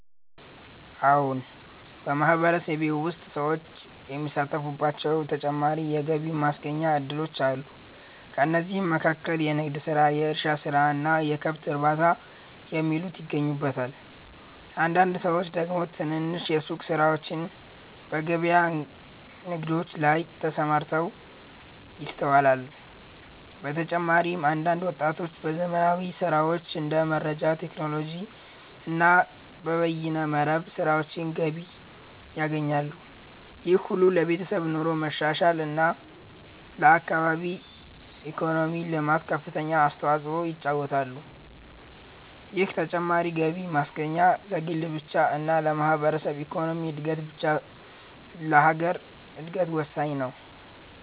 አዎን !በማህበረሰቤ ውስጥ ሰዎች የሚሳተፉባቸው ተጨማሪ የገቢ ማስገኛ እድሎች አሉ። ከእነዚህም መካከል የንግድ ስራ፣ የእርሻ ስራ እና የከብት እርባታ የሚሉት ይገኙበታል። አንዳንድ ሰዎች ደግሞ ትንንሽ የሱቅ ስራዎችና በገበያ ንግዶች ላይ ተሰማርተው ይስተዋላል። በተጨማሪም አንዳንድ ወጣቶች በዘመናዊ ስራዎች እንደ መረጃ ቴክኖሎጂ እና በበይነ መረብ ስራዎች ገቢ ያገኛሉ። ይህ ሁሉ ለቤተሰብ ኑሮ መሻሻል እና ለአካባቢ ኢኮኖሚ ልማት ከፍተኛውን አስተዋጽኦ ይጫወታሉ። ይህ ተጨማሪ ገቢ ማስገኛ ለግል ብቻ እና ለማህበረሰብ ኢኮኖሚ እድገት ብቻ ሳይሆን ለሀገር እድገት ወሳኝ ነው።